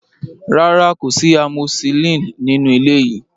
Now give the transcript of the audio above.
Rárá, kò sí amoxicillin nínú ilé yìí.